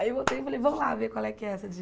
Aí voltei e falei, vamos lá ver qual é que é essa